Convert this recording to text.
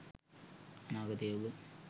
අනාගතයේ ඔබ